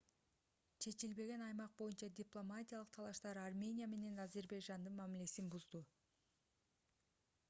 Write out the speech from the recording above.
чечилбеген аймак боюнча дипломатиялык талаштар армения менен азербайжандын мамилесин бузууда